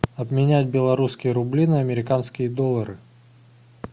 обменять белорусские рубли на американские доллары